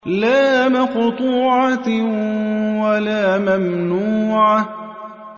لَّا مَقْطُوعَةٍ وَلَا مَمْنُوعَةٍ